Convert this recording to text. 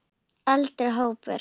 Eldri hópur